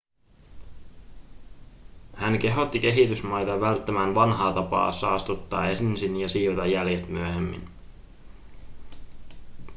hän kehotti kehitysmaita välttämään vanhaa tapaa saastuttaa ensin ja siivota jäljet myöhemmin